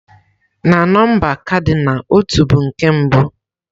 Na nọmba kadinal, "ọtú" bụ nke mbụ.